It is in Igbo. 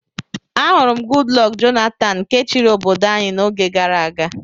Ahụrụ m Goodluck Jonathan nke chiri obodo anyi na-oge gàrà aga.